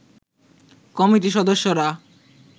কমিটির সদস্যরা